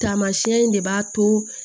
Tamasiyɛn in de b'a to